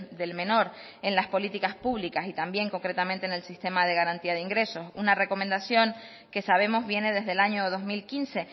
del menor en las políticas públicas y también concretamente en el sistema de garantía de ingresos una recomendación que sabemos viene desde el año dos mil quince